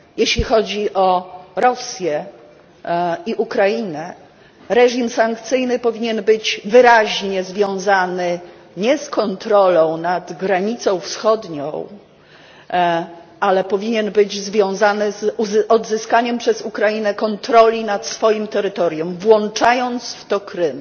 Jeśli chodzi o Rosję i Ukrainę, reżim sankcyjny powinien być wyraźnie związany nie z kontrolą nad granicą wschodnią, ale powinien być związany z odzyskaniem przez Ukrainę kontroli nad swoim terytorium, włączając w to Krym.